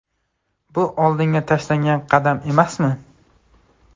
Bu oldinga tashlangan qadam emasmi?